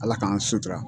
Ala k'an sutura